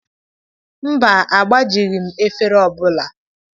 Mba, agbajighị m efere ọ bụla.